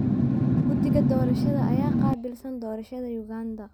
Guddiga doorashada ayaa qaabilsan doorashada Uganda.